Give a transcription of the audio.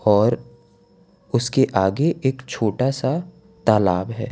और उसके आगे एक छोटा सा तालाब है।